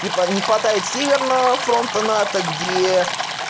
типа не хватает северного фронта нато где